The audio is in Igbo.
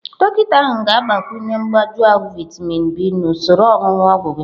Dọkịta ahụ ga-agbakwunye mgbagwoju vaịtamịn B na usoro onunu ogwu gị.